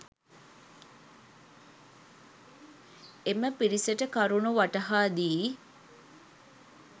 එම පිරිසට කරුණු වටහා දී